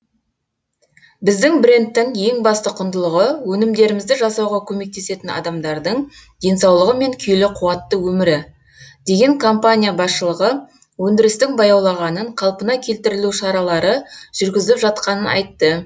біздің брендтің ең басты құндылығы өнімдерімізді жасауға көмектесетін адамдардың денсаулығы мен күйлі қуатты өмірі деген компания басшылығы өндірістің баяулағанын қалпына келтірілу шаралары жүргізіліп жатқанын айтты